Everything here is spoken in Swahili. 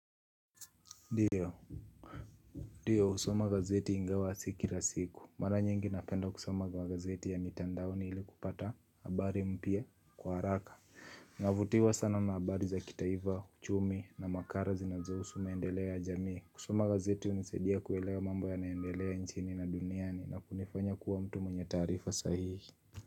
Ndio ndio husoma gazeti ingawa sikila siku. Mara nyingi napenda kusoma kwa gazeti ya mitandaoni ili kupata habari mpya kwa haraka. Navutiwa sana na habari za kitaifa uchumi na makara zinazo husu maendeleo ya jamii. Kusoma gazeti unisaidia kuelewa mambo yanaendelea nchini na duniani na kunifanya kuwa mtu mwenye taarifa sahihi.